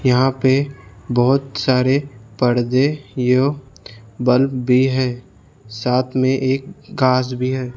यहां पे बहुत सारे पर्दे यह बल्ब भी हैं साथ में एक कांच भी है।